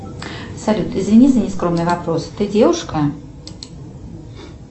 салют извини за нескромный вопрос ты девушка